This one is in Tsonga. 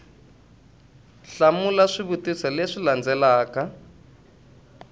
hlamula swivutiso leswi wu landzelaka